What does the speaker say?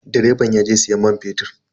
Direban yaje siyan man fetur.